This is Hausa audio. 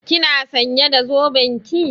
Kina sãnye da zoben ki?